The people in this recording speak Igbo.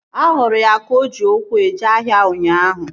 Ahụrụ ya ka o ji ụkwụ eje ahịa ụnyaahụ